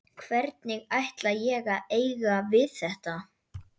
Hvernig ætla ég að eiga við þetta?